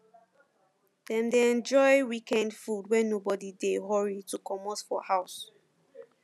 dem dey enjoy weekend food when nobody dey hurry to comot from house